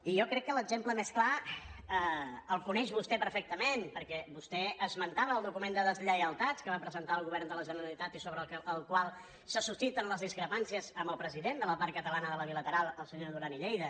i jo crec que l’exemple més clar el coneix vostè perfectament perquè vostè esmentava el document de deslleialtats que va presentar el govern de la generalitat i sobre el qual se susciten les discrepàncies amb el president de la part catalana de la bilateral el senyor duran i lleida